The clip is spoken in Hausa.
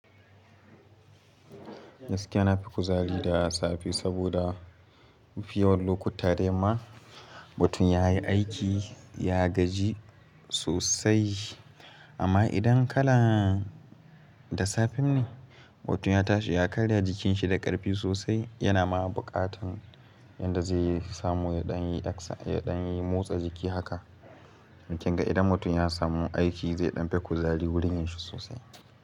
Gaskiya nafi kuzari da safe saboda mafi yawan lokuta da yamma mutum ya yi aiki, ya gaji sosai. Amma idan kala da safe ne, mutum ya tashi ya karya jikinshi da ƙarfi sosai, yana ma buƙatan yadda zai samu ya ɗan yi motsa jiki haka. Kinga idan mutum ya samu aiki zai ɗan fi kuzari wurin yinshi sosai.